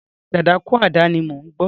Rárá, dadakúàdà ni mò ń gbọ́.